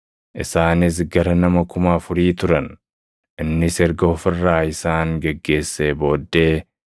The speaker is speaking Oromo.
Isaanis gara nama kuma afurii turan. Innis erga of irraa isaan geggeessee booddee,